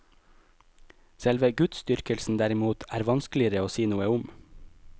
Selve gudsdyrkelsen derimot er vanskeligere å si noe om.